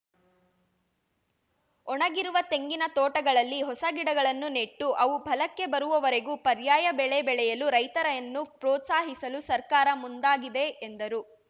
ಒಣಗಿರುವ ತೆಂಗಿನ ತೋಟಗಳಲ್ಲಿ ಹೊಸ ಗಿಡಗಳನ್ನು ನೆಟ್ಟು ಅವು ಫಲಕ್ಕೆ ಬರುವವರೆಗೂ ಪರ್ಯಾಯ ಬೆಳೆ ಬೆಳೆಯಲು ರೈತರನ್ನು ಪೋ ತ್ಸಾಹಿಸಲು ಸರ್ಕಾರ ಮುಂದಾಗಿದೆ ಎಂದರು